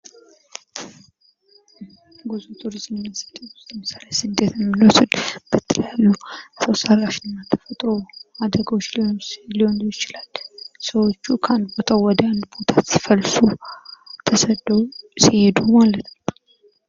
ጉዞ ቱሪዝምና ስደት ለምሳሌ በስደት የሚኖር ሰው በተለያዩ ሰው ሰራሽና ተፈጥሮ አደጋዎች ሊሆን ይችላል ሰዎች ከአንድ ቦታ ወደሌላ ቦታ ሲፈልሱ ተሰደው ሲሄዱ ማለት ነው።